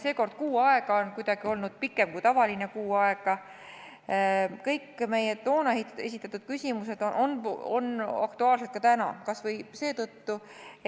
Seekord on kuu aega olnud kuidagi pikem kui tavaliselt, ent kõik meie toona esitatud küsimused on aktuaalsed ka täna, kas või seetõttu,